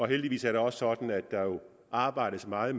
heldigvis er det også sådan at der arbejdes meget